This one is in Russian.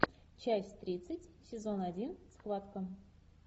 часть тридцать сезон один схватка